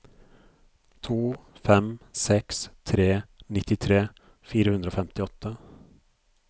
to fem seks tre nittitre fire hundre og femtiåtte